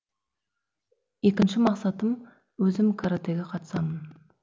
екінші мақсатым өзім каратэге қатысамын